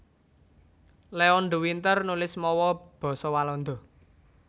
Leon de Winter nulis mawa basa Walanda